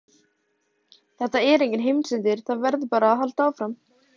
Þetta er enginn heimsendir, það verður bara að halda áfram.